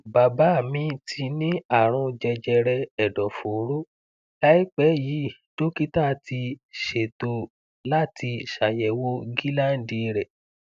bàbá mi ti ní àrùnjẹjẹrẹ ẹdọfóró láìpẹ yìí dókítà ti ṣètò láti ṣàyẹwò gíláǹdì rẹ